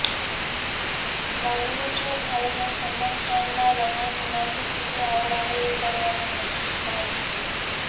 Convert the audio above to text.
बॉलीवूडचा भाईजान सलमान खानला लहान मुलांची किती आवड आहे हे सर्वांना माहीत आहे